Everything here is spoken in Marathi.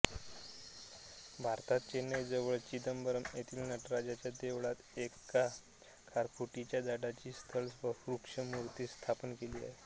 भारतात चेन्नईजवळ चिदंबरम् येथील नटराजाच्या देवळात एका खारफुटीच्या झाडाची स्थल वृक्षमूर्ती स्थापन केली आहे